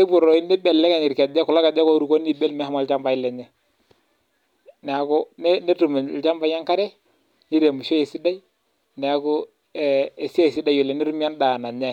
loibrlito irkejek meshomo ilchambai lenye neeku enetipat oleng ene